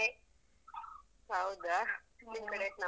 ಹೌದಾ ನಿಮ್ಕಡೆ?